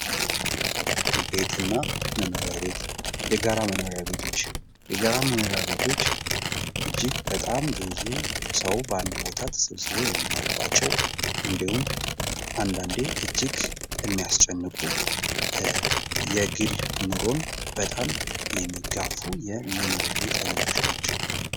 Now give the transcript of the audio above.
ቤት እና መኖሪያ ቤት ፦ የጋራ መኖሪያ ቤቶች ፦ የጋራ መኖሪያ ቤቶች እጅግ በጣም ብዙ ሰው በአንድ ቦታ ተሰብስቦ የሚኖርባቸው እንዲሁም አንዳንዴ እጅግ የሚያስጨንቁ ፣ የግል ኑሮን በጣም የሚጋፉ የመኖሪያ ቤት አይነቶች ናቸው ።